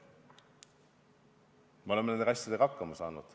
Me oleme nende asjadega hakkama saanud.